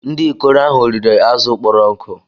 Ndị ikoro ahụ riri azụ̀ kpọrọ nkụ